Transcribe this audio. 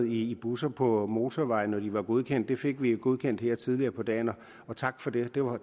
i busser på motorveje når de var godkendt det fik vi godkendt her tidligere på dagen og tak for det